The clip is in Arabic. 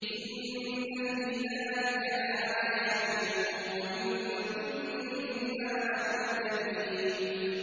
إِنَّ فِي ذَٰلِكَ لَآيَاتٍ وَإِن كُنَّا لَمُبْتَلِينَ